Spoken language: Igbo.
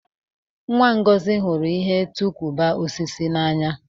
Nwa Ngozi hụrụ ihe tọị kụubụ osisi n'anya.